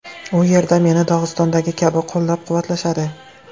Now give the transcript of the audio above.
U yerda meni Dog‘istondagi kabi qo‘llab-quvvatlashadi.